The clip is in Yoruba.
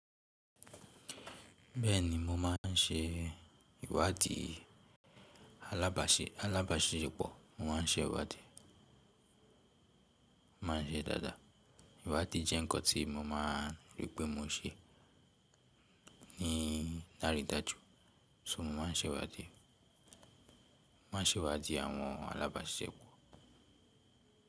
Bẹ́ẹ̀ni mo máa ń ṣe ìwádìí alábàáṣẹ, alábàáṣẹ èpọ̀, mo máa ń ṣe ìwádìí, mo máa ń ṣe dada. Ìwádìí jẹ́ nǹkan tí mo máa ri pé mo ṣe ní lárí dájú, so, mo máa ń ṣewádìí, máa ń ṣe ìwádìí àwọn alábàáṣẹ èpọ̀.